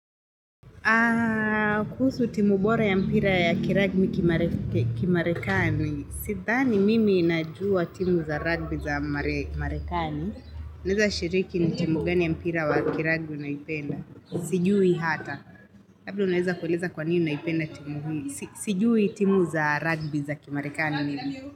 Kuhusu timu bora ya mpira ya kiragbi kimarekani. Sidhani mimi inajua timu za rugby za marekani. Naeza shiriki ni timu gani ya mpira wa kiragbi unaipenda. Sijui hata. Labda naeza kuweleza kwa nini naipenda timu hii. Sijui timu za rugby za kimarekani.